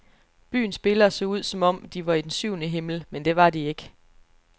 Byens spillere så ud som om, de var i den syvende himmel, men det var de ikke.